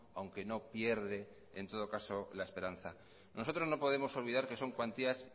aunque no pierde en todo caso la esperanza nosotros no podemos olvidar que son cuantías